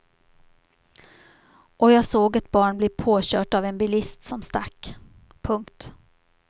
Och jag såg ett barn bli påkört av en bilist som stack. punkt